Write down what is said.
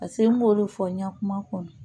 Paseke n b'olu fɔ n ka kuma kɔnɔ